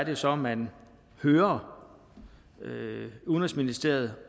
jo så man hører udenrigsministeriet